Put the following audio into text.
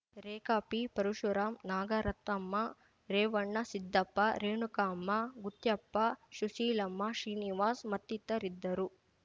ರೇಖಾ P Parashuram Nagaratnamma Revannasiddappa Renukamma Gutyappa Sushilamma Srinivas ಮತ್ತಿತರಿದ್ದರು